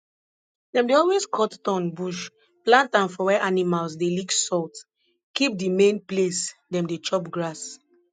dem dey always cut thorn bush plant am for where animals dey lick salt keep di main place dem dey chop grass